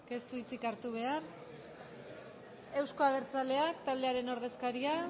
ez du hitzik hartu behar euzko abertzaleak taldearen ordezkaria